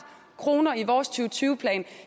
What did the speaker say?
kroner i vores to tusind og tyve plan